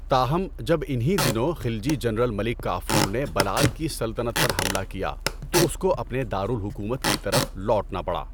تاہم، جب انہی دنوں خلجی جنرل ملک کافور نے بَلال کی سلطنت پر حملہ کیا تو اس کو اپنے دارالحکومت کی طرف لوٹنا پڑا۔